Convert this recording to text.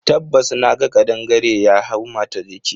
Tabbas naga kadangare ya hau mata jiki.